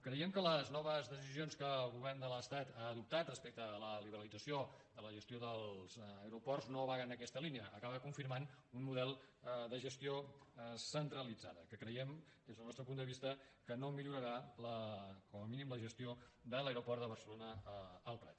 creiem que les noves decisions que el govern de l’estat ha adoptat respecte a la liberalització de la gestió dels aeroports no va en aquesta línia acaba confirmant un model de gestió centralitzada que creiem des del nostre punt de vista que no millorarà com a mínim la gestió de l’aeroport de barcelona el prat